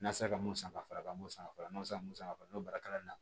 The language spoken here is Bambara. N'a sera ka mun san ka fara n b'o san fɔlɔ n'o sera mun ma san n'o baara kalan na